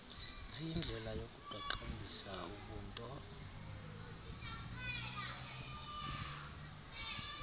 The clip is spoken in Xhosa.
ziyindlela yokuqaqambisa ubunto